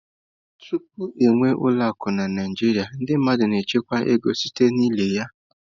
Tupu e nwee ụlọ akụ na Naịjirịa, ndị mmadụ na-echekwa ego site n'ili ya.